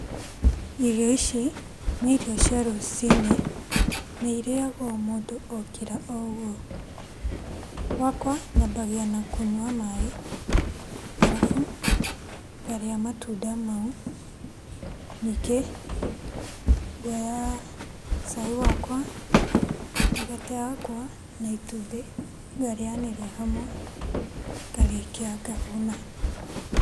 Irio ici nĩ irio cia rũcinĩ na irĩagwo mũndũ okĩra o ũguo. Gwakwa, nyambagia na kũnyua maĩ arabu ngarĩa matunda mau, ningĩ ngoya cai wakwa, mĩgate yakwa, na itumbĩ ngarĩanĩria hamwe ngarĩkia ngahũna.